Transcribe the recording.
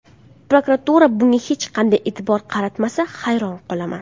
Prokuratura bunga hech qanday e’tibor qaratmasa, hayron qolaman.